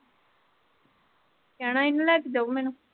ਕਹਿਣਾ ਸੀ ਨਾ ਲੈ ਕੇ ਜਾਓ ਮੈਨੂੰ।